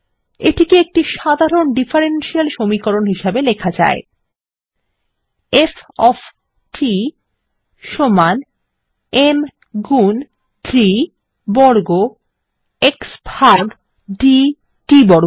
এটিকে একটি সাধারণ ডিফারেনশিয়াল সমীকরণ হিসাবে লেখা যায় 160F ওএফ t সমান m গুন d বর্গ x ভাগ d t বর্গ